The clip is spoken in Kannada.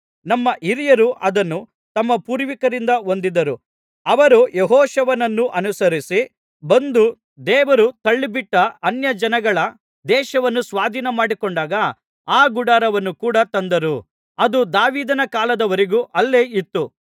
ನಮ್ಮ ಹಿರಿಯರು ಅದನ್ನು ತಮ್ಮ ಪೂರ್ವಿಕರಿಂದ ಹೊಂದಿದ್ದರು ಅವರು ಯೆಹೋಶುವನನ್ನು ಅನುಸರಿಸಿ ಬಂದು ದೇವರು ತಳ್ಳಿಬಿಟ್ಟ ಅನ್ಯಜನಗಳ ದೇಶವನ್ನು ಸ್ವಾಧೀನಮಾಡಿಕೊಂಡಾಗ ಆ ಗುಡಾರವನ್ನು ಕೂಡ ತಂದರು ಅದು ದಾವೀದನ ಕಾಲದವರೆಗೂ ಅಲ್ಲೇ ಇತ್ತು